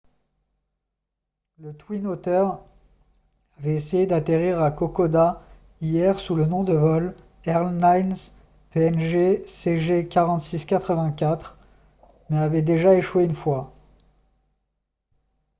le twin otter avait essayé d'atterrir à kokoda hier sous le nom de vol airlines png cg4684 mais avait déjà échoué une fois